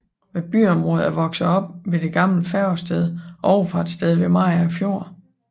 Byområdet er vokset op ved det gamle færgested og overfartssted ved Mariager Fjord